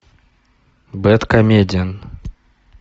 бэдкомедиан